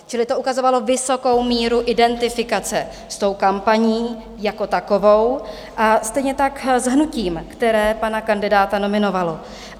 Čili to ukazovalo vysokou míru identifikace s tou kampaní jako takovou a stejně tak s hnutím, které pana kandidáta nominovalo.